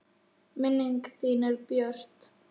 Minning þín er björt.